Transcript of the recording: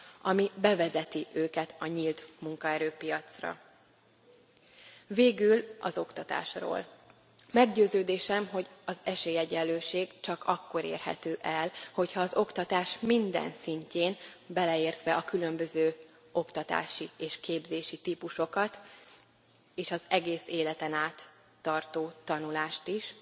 ami bevezeti őket a nyílt munkaerőpiacra. Végül az oktatásról meggyőződésem, hogy az esélyegyenlőség csak akkor érhető el, hogyha az oktatás minden szintjén, beleértve a különböző oktatási és képzési típusokat, és az egész életen át tartó tanulást is,